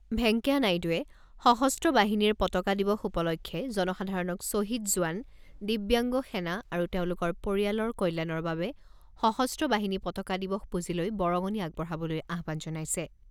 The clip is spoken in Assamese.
ভেংকায়া নাইডুৱে সশস্ত্ৰ বাহিনীৰ পতাকা দিৱস উপলক্ষে জনসাধাৰণক শ্বহীদ জোৱান, দিব্যাংগ সেনা আৰু তেওঁলোকৰ পৰিয়ালৰ কল্যাণৰ বাবে সশস্ত্ৰ বাহিনী পতাকা দিৱস পুঁজিলৈ বৰঙণি আগবঢ়াবলৈ আহ্বান জনাইছে।